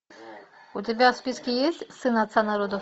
у тебя в списке есть сын отца народов